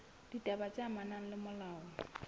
ditaba tse amanang le molao